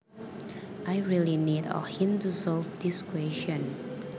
I really need a hint to solve this question